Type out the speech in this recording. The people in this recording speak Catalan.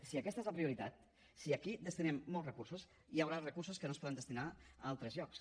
si aquesta és la prioritat si aquí destinem molts recursos hi haurà recursos que no es podran destinar a altres llocs